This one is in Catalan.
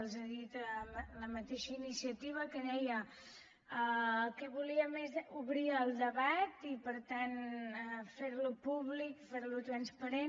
els ha dit la mateixa iniciativa que deia el que volíem és obrir el debat i per tant ferlo públic ferlo transparent